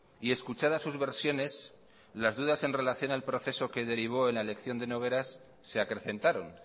y escuchadas sus versiones las dudas en relación al proceso que derivó en la elección de nogueras se acrecentaron